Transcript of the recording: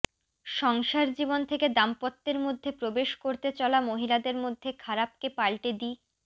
সংসার জীবন থেকে দাম্পত্যের মধ্যে প্রবেশ করতে চলা মহিলাদের মধ্যে খারাপকে পাল্টে দি